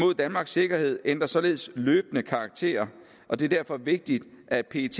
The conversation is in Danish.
mod danmarks sikkerhed ændrer således løbende karakter og det er derfor vigtigt at pet